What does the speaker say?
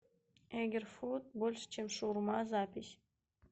эгер фуд больше чем шаурма запись